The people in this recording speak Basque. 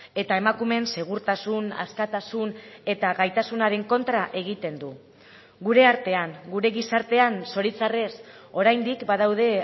eta emakumeen segurtasun askatasun eta gaitasunaren kontra egiten du gure artean gure gizartean zoritxarrez oraindik badaude